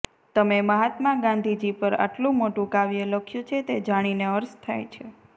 તમે મહાત્મા ગાંધીજી પર આટલું મોટું કાવ્ય લખ્યું છે તે જાણીને હર્ષ થાય છે